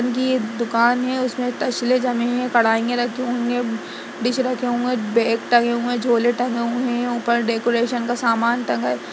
ये दुकान है उसमे टसले जमे है कड़ाइया रखी हुई है ब-डिश रखे हुए है बैग टंगे हुए है झोले टंगे हुए हैं ऊपर डेकोरेशन का सामान टंगा--